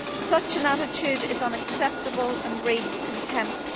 Such an attitude is unacceptable and breeds contempt.